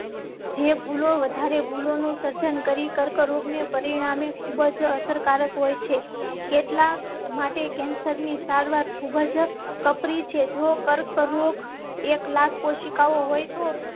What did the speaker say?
જે ભૂલો વધારે ભૂલો નું સર્જન કરી કર્કરોગ ને પરિણામે ખૂબ જ અસરકારક હોય છે. કેટલાક માટે કેન્સર ની સારવાર ખૂબ જ કપરી છે. જો કર્કરોગ એક લાખ કોશિકાઓ હોય તો